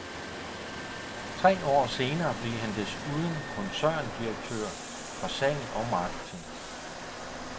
Tre år senere blev han desuden koncerndirektør for salg og marketing.